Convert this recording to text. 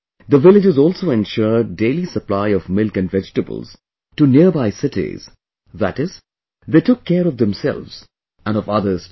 The villages also ensured daily supply of milk and vegetables to nearby cities that is, they took care of themselves and of others too